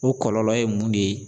O kɔlɔlɔ ye mun de ye?